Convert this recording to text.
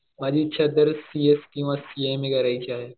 माझी इच्छा तर सीएस किंवा सीएमए करायची आहे.